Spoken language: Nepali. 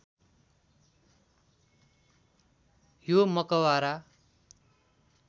यो मकबरा